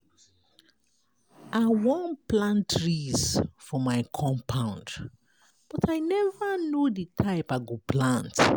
I wan plant trees for my compound but I never no the type I go plant.